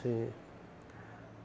Sim.